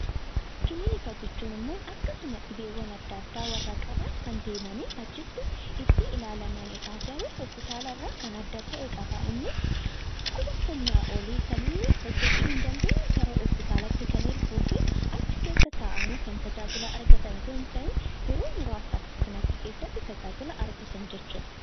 Kilinika jechuun immoo akkasuma namoota dhibee qaban kan deemanii achitti itti ilaalamanidha. Garuu hoospitaala irraa kan adda ta'e qaba innis dhukkuba humnaa olii kan inni hojjechuu hin dandeenye gara hoospitaalaatti kan erguu fi achi keessa ta'anii kan tajaajila argatan osoo hin ta'in yeroo muraaasaaf tajaajila kan argatan jechuudha.